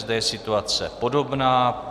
Zde je situace podobná.